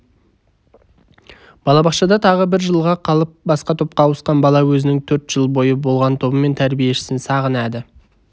балабақшада тағы бір жылға қалып басқа топқа ауысқан бала өзінің төрт жыл бойы болған тобы мен тәрбиешісін сағынады